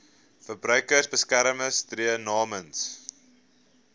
verbruikersbeskermer tree namens